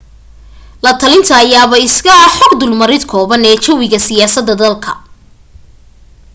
latalinta ayaaba iska ah xog dulmarid kooban ee jawiga siyaasada dalka